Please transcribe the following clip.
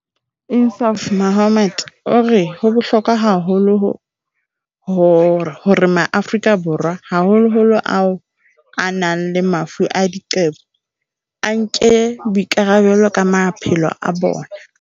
INSAAF MOHAMMED o re ho bohlokwa haholo hore Maafrika Borwa, haholoholo ao a nang le mafu a diqebo, a nke boikarabelo ka maphelo a bona.